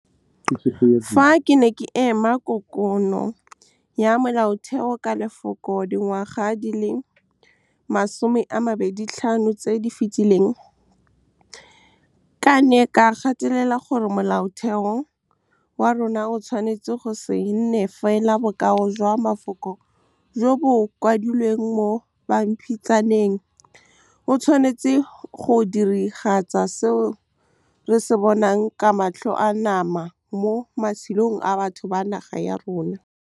Fa ke ne ke eme Kokoano ya Molaotheo ka lefoko dingwaga di le 25 tse di fetileng ke ne ka gatelela gore Molaotheo wa rona o tshwanetse go se nne fela bokao jwa mafoko jo bo kwadilweng mo pampitshaneng, o tshwanetse go diragatsa seo re se bonang ka matlho a nama mo matshelong a batho ba naga ya rona. Fa ke ne ke eme Kokoano ya Molaotheo ka lefoko dingwaga di le 25 tse di fetileng ke ne ka gatelela gore Molaotheo wa rona o tshwanetse go se nne fela bokao jwa mafoko jo bo kwadilweng mo pampitshaneng, o tshwanetse go diragatsa seo re se bonang ka matlho a nama mo matshelong a batho ba naga ya rona.